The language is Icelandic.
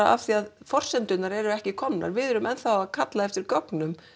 af því að forsendurnar eru ekki komnar við erum ennþá að kalla eftir gögnum